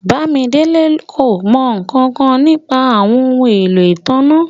Bàmídélẹ̀ kò mọ nkankan nípa àwọn ọhun ẹ̀lọ́ itánná.